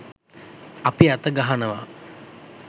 අපි අත ගහනවා.